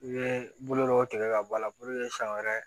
I bɛ bolo dɔw tigɛ ka bɔ a la siɲɛ wɛrɛ